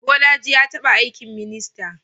Bolaji ya taba aikin minista.